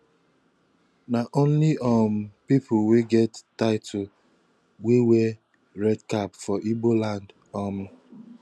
na only um pipu wey get title dey wey red cap for igbo land um